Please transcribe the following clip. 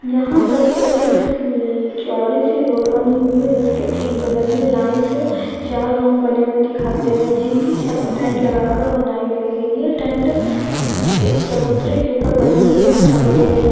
यहाँ पर एक ल चौड़ी सी रोड बनी हुई है जिसके ठीक बगल मै लाइन से चार रूम बने हुए दिखाई दे रहे है जिनके छत टेंट लगा के बनाई गई है येह टेंट एक चबूतरे के ऊपर बने हुए दिखाई दे रहे है।